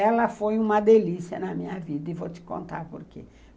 Ela foi uma delícia na minha vida, e vou te contar por quê.